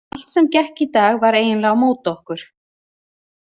Allt sem gekk í dag var eiginlega á móti okkur.